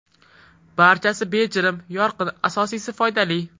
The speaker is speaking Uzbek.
Barchasi bejirim, yorqin, asosiysi foydali.